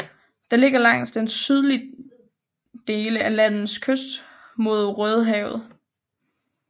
Den ligger langs den sydlige dele af landets kyst mod Rødehavet